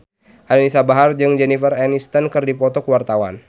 Anisa Bahar jeung Jennifer Aniston keur dipoto ku wartawan